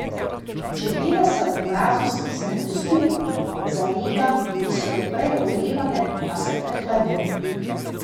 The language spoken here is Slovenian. Čebele se ob mrazu stisnejo skupaj, zalega, ki so jo prej ogrevale, pa se prehladi.